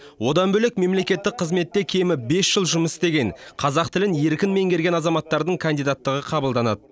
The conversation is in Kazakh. одан бөлек мемлекеттік қызметте кемі бес жыл жұмыс істеген қазақ тілін еркін меңгерген азаматтардың кандидаттығы қабылданады